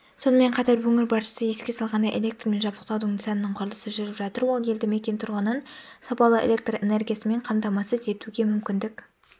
сонымен қатар өңір басшысы еске салғандай электрмен жабдықтаудың нысанының құрылысы жүріп жатыр ол елді мекен тұрғынын сапалы электр энергиясымен қамтамасыз етуге мүмкіндік